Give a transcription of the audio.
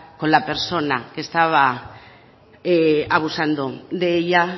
con la persona que estaba abusando de ella